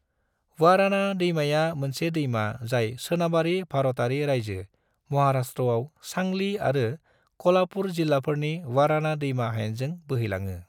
वाराना दैमाया मोनसे दैमा जाय सोनाबारि भारतयारि रायजो महाराष्ट्रआव सांली आरो कोल्हापुर जिल्लाफोरनि वाराना दैमा हायेनजों बोहैलाङो।